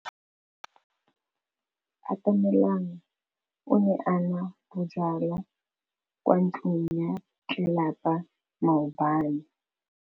Atamelang o ne a nwa bojwala kwa ntlong ya tlelapa maobane.